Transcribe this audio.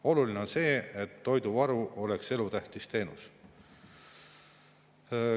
Oluline on see, et toiduvaru oleks elutähtis teenus.